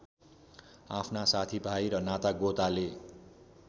आफ्ना साथीभाइ र नातागोताले